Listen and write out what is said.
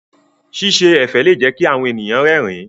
Ṣíṣe ẹ̀fẹ̀ lè jẹ́ kí àwọn ẹ̀yàn rẹ́rìn-ín.